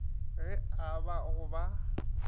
ge e ba go ba